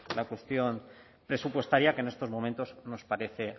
la cuestión presupuestaria que en estos momentos nos parece